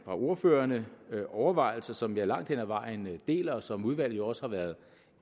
ordførerne overvejelser som jeg langt hen ad vejen deler og som udvalget jo også har været